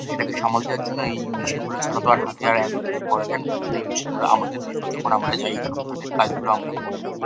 সামাল দেওয়ার জন্যই এই মেশিন গুলো ছাড়া আর হাতে আর এতো কিছু করা যায় না তার জন্য এই মেশিন গুলো আমাদের দিলে আমরা যাই এসব ধরনের কাজ গুলো আমরা করে থাকি।